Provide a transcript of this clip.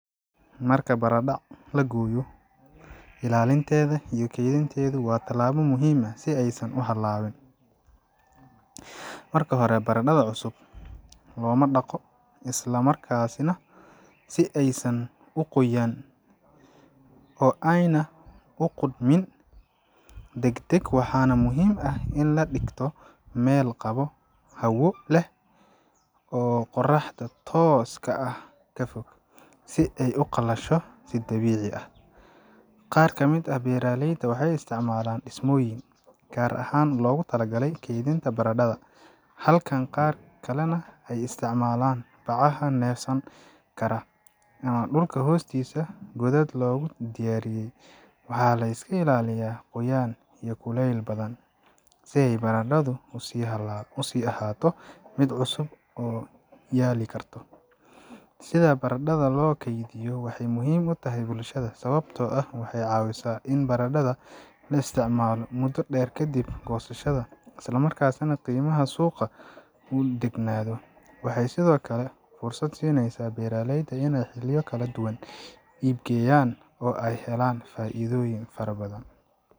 Marka baradhada la gooyo, ilaalinteeda iyo keydinteedu waa tallaabo muhiim ah si aysan u halaabin. Marka hore, baradhada cusub looma dhaqo isla markaasi nah, si aysan u qoyaan oo aanay u qudhmin deg deg. Waxaa muhiim ah in la dhigto meel qabow, hawo leh oo qorraxda tooska ah ka fog, si ay u qalasho si dabiici ah. Qaar ka mid ah beeraleyda waxay isticmaalaan dhismooyin gaar ahaan loogu talagalay keydinta baradhada, halka qaar kalena ay isticmaalaan bacaha neefsan kara ama dhulka hoostiisa godad loogu diyaariyay. Waxaa la iska ilaaliyaa qoyaan iyo kulayl badan si baradhadu u sii ahaato mid cusub oo yaali karto . Sida baradhada loo keydiyo waxay muhiim u tahay bulshada, sababtoo ah waxay ka caawisaa in baradhada la isticmaalo muddo dheer kadib goosashada, isla markaana qiimaha suuqa uu degganaado. Waxay sidoo kale fursad siinaysaa beeraleyda inay xilliyo kala duwan iib geeyaan, oo ay ka helaan faa’iido fara badan.